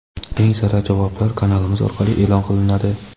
Eng sara javoblar kanalimiz orqali e’lon qilinadi.